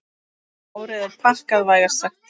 Árið er pakkað, vægast sagt.